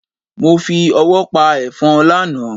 Mo fi ọwọ́ pa ẹ̀fọ́n lánàá.